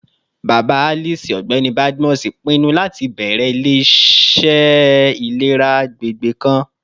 Baba Alice, Ọgbẹni Badmus, pinnu lati bẹrẹ ile-iṣẹ ilera agbegbe kan